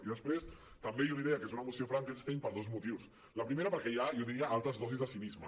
i després també jo li deia que és una moció frankenstein per dos motius el pri·mer perquè hi ha jo diria altes dosis de cinisme